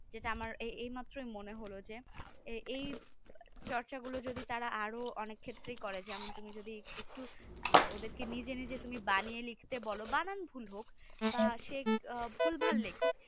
যেটা আমার এইমাত্র মনে হলো যে এই চর্চা গুলো যদি তারা আরো অনেক ক্ষেত্রে করে যেমন তুমি যদি একটু ওদেরকে নিজে নিজে তুমি বানিয়ে লিখতে বল বানান ভুল হোক বা সে ভুলভাল লিখুক